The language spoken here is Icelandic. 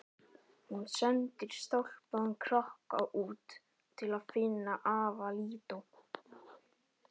Hún sendir stálpaðan krakka út til að finna afa Lídó.